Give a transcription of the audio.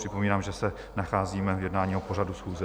Připomínám, že se nacházíme v jednání o pořadu schůze.